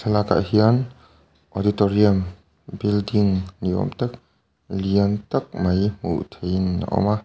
bakah hian auditorium building ni awm tak lian tak mai hmuh theih in a awm a--